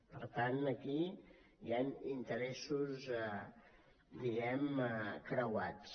per tant aquí hi han interessos diguem ne creuats